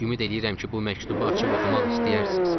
Ümid eləyirəm ki, bu məktubu açıb oxumaq istəyərsiz.